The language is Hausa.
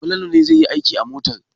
Falalu ne zai yi aiki a motar.